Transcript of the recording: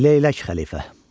Leylək xəlifə.